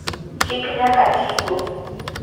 Chik nyaka ti go.